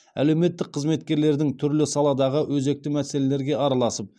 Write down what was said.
әлеуметтік қызметкерлердің түрлі саладағы өзекті мәселелерге араласып